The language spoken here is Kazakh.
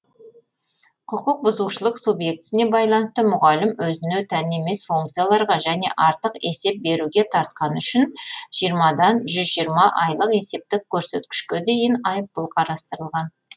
құқық бұзушылық субъектісіне байланысты мұғалім өзіне тән емес функцияларға және артық есеп беруге тартқаны үшін жиырмадан жүз жиырма айлық есептік көрсеткішке дейін айыппұл қарастырылған